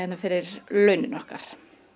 fyrir launin okkar